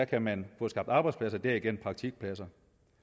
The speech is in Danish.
kan man få skabt arbejdspladser og derigennem praktikpladser